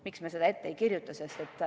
Miks me seda ette ei kirjuta?